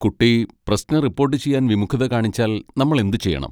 കുട്ടി പ്രശ്നം റിപ്പോട്ട് ചെയ്യാൻ വിമുഖത കാണിച്ചാൽ നമ്മൾ എന്തുചെയ്യണം?